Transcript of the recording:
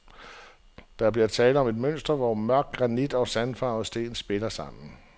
Der bliver tale om et mønster, hvor mørk granit og sandfarvet sten spiller sammen.